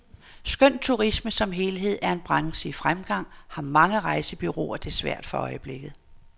Skønt turisme som helhed er en branche i fremgang, har mange rejsebureauer det svært for øjeblikket.